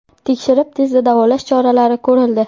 Tekshirib, tezda davolash choralari ko‘rildi.